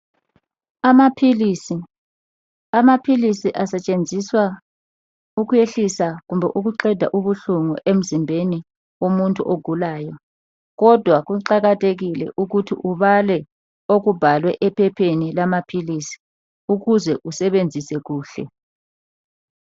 Amaphilisi. Amaphilisi asetshenziswa ukuyehlisa kumbe ukuqeda ubuhlungu emzimbeni womuntu ogulayo. Kodwa kuqakathekile ukuthi ubale okubhalwe ephepheni lamaphilisi ukuze usebenzise kuhle.